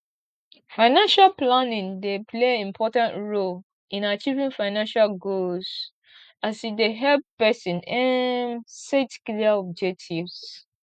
financial planning dey play important role in achieving financial goals as e dey help pesin um set clear objectives